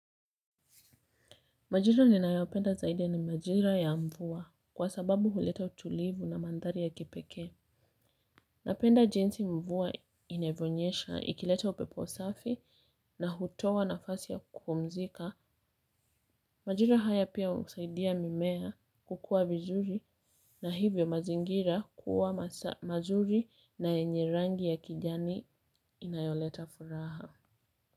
Majira nina yaopenda zaide ni majira ya mvuwa kwa sababu huleta utulivu na mandhari ya kipeke. Napenda jinsi mvua inevyonyesha, ikileta upepo safi na hutowa nafasi ya kupumzika. Majira haya pia usaidia mimea kukua vizuri na hivyo mazingira kuwa mazuri na yenye rangi ya kijani inayoleta furaha.